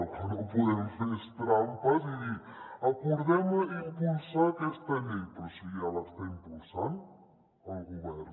el que no podem fer és més trampes i dir acordem impulsar aquesta llei però si ja l’està impulsant el govern